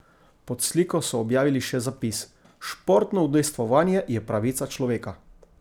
Pod sliko so objavili še zapis: "Športno udejstvovanje je pravica človeka.